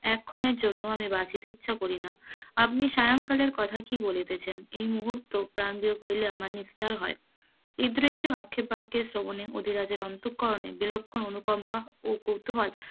এক্ষণের জন্য আমি বাঁচিতে ইচ্ছা করিনা, আপনি সায়ংকালের কথা কি বলিতেছেন এই মুহুর্তে প্রাণ বিয়োগ হইলে আমার নিস্তার হয়, এ দৃশ্য আক্ষেপকে শ্রবণে অধিরাজের অন্তকরন বিলক্ষণ অনুকম্পা ও কৌতূহল,